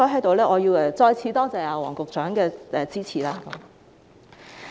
所以，我要在此再次多謝黃局長的支持。